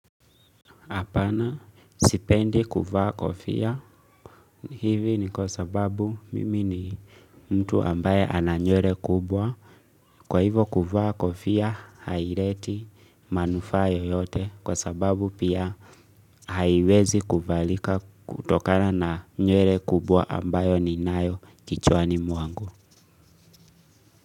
Apana sipendi kuvaa kofia hivi ni kwa sababu mimi ni mtu ambaye ana nywele kubwa. Kwa hivo kuvaa kofia haileti manufaa yoyote kwa sababu pia haiwezi kuvalika kutokana na nywele kubwa ambayo ninayo kichwani mwangu.